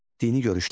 Dini görüşlər.